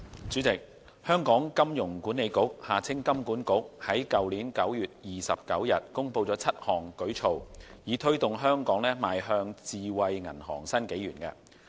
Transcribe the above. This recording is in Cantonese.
主席，香港金融管理局在去年9月29日公布7項舉措，以推動香港邁向智慧銀行新紀元。